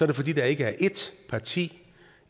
det fordi der ikke er ét parti